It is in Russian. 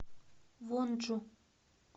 вонджу